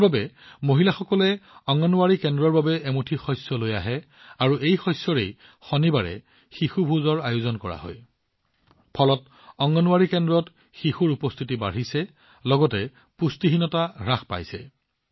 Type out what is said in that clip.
ই অংগনৱাড়ী কেন্দ্ৰত শিশুৰ উপস্থিতি বৃদ্ধি কৰাৰ লগতে পুষ্টিহীনতা হ্ৰাস কৰিছে